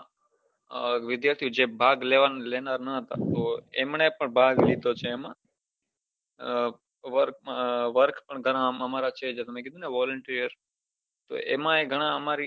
વિઘાર્થી જે ભાગ લેવાનો ન હતો એમને પન ભાગ લીઘીઓ છે એમાં work એમાં છે પન મેં કીઘુ ને volunteer એમાં એ ઘણા આમારી